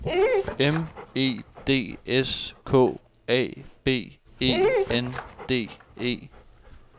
M E D S K A B E N D E